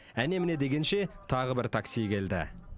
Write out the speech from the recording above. әне міне дегенше тағы бір такси келді